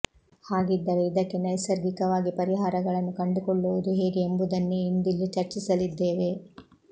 ಹಾಗಿದ್ದರೆ ಇದಕ್ಕೆ ನೈಸರ್ಗಿಕವಾಗಿ ಪರಿಹಾರಗಳನ್ನು ಕಂಡುಕೊಳ್ಳುವುದು ಹೇಗೆ ಎಂಬುದನ್ನೇ ಇಂದಿಲ್ಲಿ ಚರ್ಚಿಸಲಿದ್ದೇವೆ